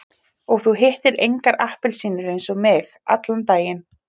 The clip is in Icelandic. Og þú hittir engar appelsínur eins og mig, allan daginn.